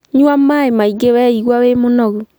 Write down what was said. Nyua maĩ maĩ ngĩ weigua wĩ mũnogu